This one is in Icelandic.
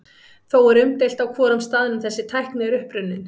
Þó er umdeilt á hvorum staðnum þessi tækni er upprunnin.